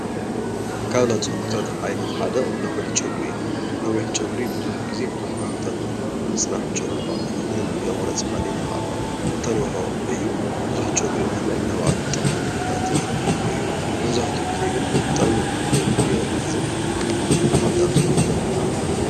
ካብ ናይ ፀጉሪታት ዓይነት ሓደ ነዊሕ ፀጉሪ እዩ። ነዊሕ ፀጉሪ ቡዙሕ ግዜ ቡዙሕ ዓመታት ንምፅናሕ ፀጉሪኻ ምንም እንተይ ቆረፅካ ከይነካእካ እተንውሖ እዩ። ቡዙሕ ፀጉሪ ምህላው ናይ ባዕሉ ጠቅምን ጉድኣትን ይህልዎ እዩ። መብዛሕቲኡ ግዜ ጥቅሙ የመዝን ንምምልኻዕ ዝኣምሰሉ